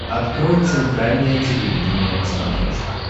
открой центральное телевидение на смотрешке